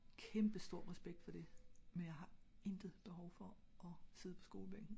kæmpe stor respekt for det men jeg har intet behov for at sidde på skole bænken